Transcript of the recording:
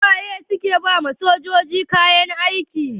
Su waye ke ba ma sojoji kayan aiki?